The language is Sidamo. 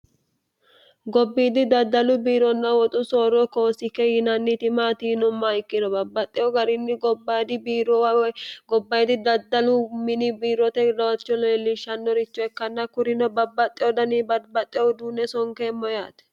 gobbiiddi daddalu biironna woxu sooro koosikke yinanniti maatiinomma ikkino babbaxxeho garinni gobbayidi biiroowa gobbayidi daddalu mini biirote laacho leellishshannorichoekkanna kurino babbaxxe odani badbaxxe uduunne sonkeemmo yaate